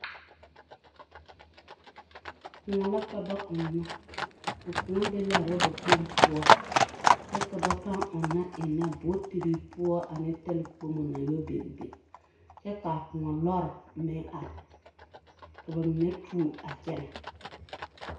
Kõɔ la ka ba ɔnnɔ, a kõɔ be l'a raba kpoŋ poɔ kyɛ ka ba pãã ɔnnɔ ennɛ bootiri poɔ ane talkponi naŋ yɔ biŋ biŋ kyɛ k'a kõɔ lɔre meŋ are, ka ba mine tuo a kyɛnɛ.